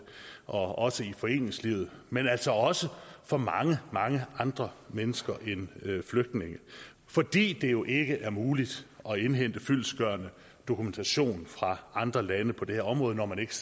og i foreningslivet men altså også for mange mange andre mennesker end flygtninge fordi det jo ikke er muligt at indhente fyldestgørende dokumentation fra andre lande på det her område når man ikke